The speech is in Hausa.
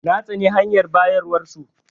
Na tsane hanyar bayarwar su.